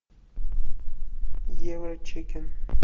евро чикен